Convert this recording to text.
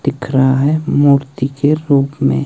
दिख रहा है मूर्ति के रूप में।